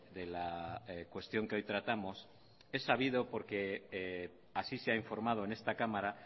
de la cuestión que hoy tratamos he sabido porque así se ha informado en esta cámara